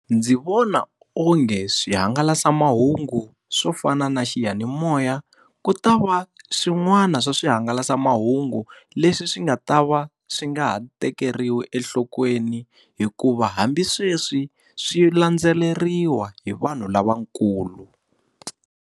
Ndzi vona onge swihangalasamahungu swo fana na xiyanimoya, ku ta va swin'wana swa swihangalasamahungu leswi swi nga ta va swi nga ha tekeriwi enhlokweni hikuva hambi sweswi swi landzeleriwa hi vanhu lavakulu.